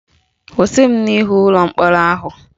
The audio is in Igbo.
Kwụsị m n'ihu ụlọ mkpọrọ ahụ!